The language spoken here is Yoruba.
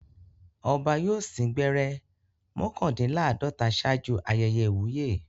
Ọba yóò sín gbẹ́rẹ́ mọ́kàndínláàdọ́ta ṣáájú ayẹyẹ ìwúyè.